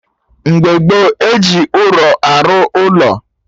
Mgbe gboo, eji ụrọ arụ ụlọ